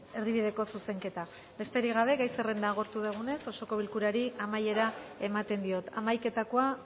erdibideko zuzenketa besterik gabe gai zerrenda agortu dugunez osoko bilkurari amaiera ematen diot hamaiketakoa